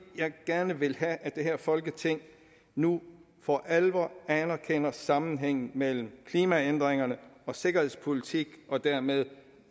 jeg gerne vil have at det her folketing nu for alvor anerkender sammenhængen mellem klimaændringerne og sikkerhedspolitikken og dermed